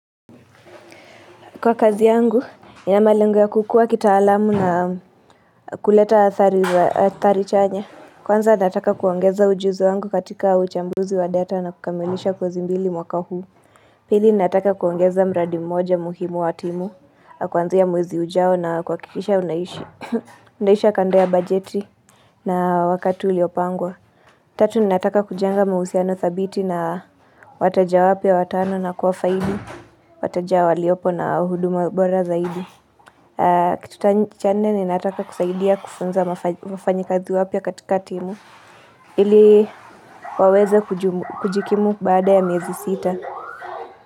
Kwa kazi yangu, nina malengo ya kukua kitaalamu na kuleta athari chanya. Kwanza nataka kuongeza ujuzi wangu katika uchambuzi wa data na kukamilisha kosi mbili mwaka huu. Pili nataka kuongeza mradi mmoja muhimu wa timu, kuanzia mwezi ujao na kuhakikisha unaisha khanda ya bajeti na wakati uliopangwa. Tatu ninataka kujenga mahusiano thabiti na wateja wapya watano na kuwa faidi, wateja waliopo na huduma bora zaidi. Kitu cha nne ninataka kusaidia kufunza mafanyakazi wapya katika timu, ili waweza kujikimu baada ya miezi sita.